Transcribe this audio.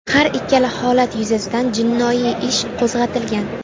Har ikkala holat yuzasidan jinoiy ish qo‘zg‘atilgan.